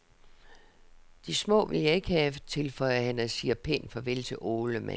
De små vil jeg ikke have, tilføjer han og siger pænt farvel til ålemanden.